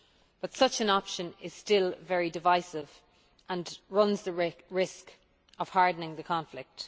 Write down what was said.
But such an option is still very divisive and runs the risk of hardening the conflict.